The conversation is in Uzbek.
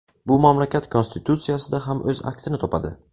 Bu mamlakat konstitutsiyasida ham o‘z aksini topadi.